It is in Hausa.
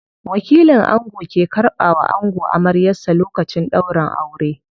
Wakilin ango ke karɓa wa ango amaryar sa lokacin ɗaurin aure.